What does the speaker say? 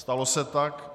Stalo se tak.